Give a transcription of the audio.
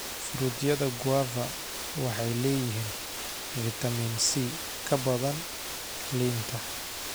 Fruityada guava waxay leeyihiin fitamiin C ka badan liinta.